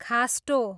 खास्टो